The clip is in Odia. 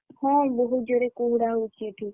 ହଁ ବହୁତ ଜୋରେ କୁହୁଡା ହଉଛି ଏଠି।